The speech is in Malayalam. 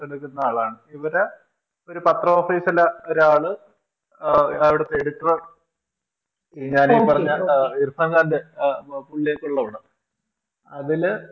ഇവര് ഒരു പത്ര Office ലെ ഒരാള് ആഹ് അവിടുത്തെ editor ഉം ഞാൻ ഈ പറഞ്ഞ ഇർഫാൻ ഖാന്റെ ആഹ് പുള്ളിയൊക്കെ ഉള്ള പടം അതില്